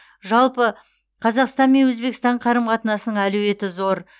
жалпы қазақстан мен өзбекстан қарым қатынасының әлеуеті зор